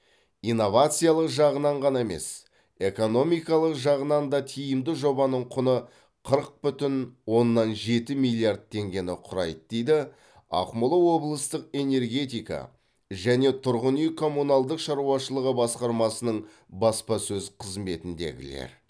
инновациялық жағынан ғана емес экономикалық жағынан да тиімді жобаның құны қырық бүтін оннан жеті миллиард теңгені құрайды дейді ақмола облыстық энергетика және тұрғын үй коммуналдық шаруашылығы басқармасының баспасөз қызметіндегілер